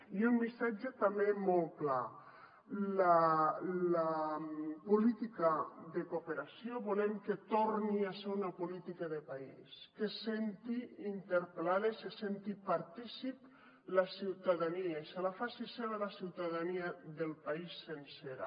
i un missatge també molt clar la política de cooperació volem que torni a ser una política de país que se senti interpel·lada i se senti partícip la ciutadania i se la faci seva la ciutadania del país sencera